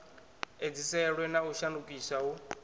edziselwe na u shandukiswa hu